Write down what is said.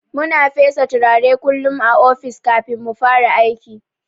Muna fesa turare kullun a ofis kafin mufara aiki.